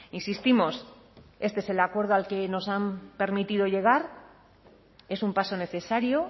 insistimos este es el acuerdo al que nos han permitido llegar es un paso necesario